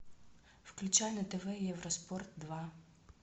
включай на тв евроспорт два